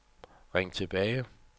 ring tilbage